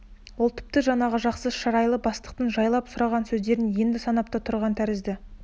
ол тіпті жаңағы жақсы шырайлы бастықтың жайлап сұраған сөздерін енді сынап та тұрған тәрізді